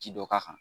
Ji dɔ k'a kan